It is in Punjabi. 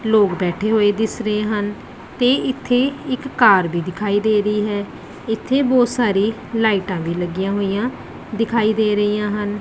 ਲੋਕ ਬੈਠੇ ਹੋਏ ਦਿਸ ਰਹੇ ਹਨ ਤੇ ਇੱਥੇ ਇੱਕ ਕਾਰ ਵੀ ਦਿਖਾਈ ਦੇ ਰਹੀ ਹੈ ਇੱਥੇ ਬਹੁਤ ਸਾਰੀ ਲਾਈਟਾਂ ਵੀ ਲੱਗੀਆਂ ਹੋਈਆਂ ਦਿਖਾਈ ਦੇ ਰਹੀਆਂ ਹਨ।